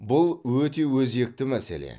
бұл өте өзекті мәселе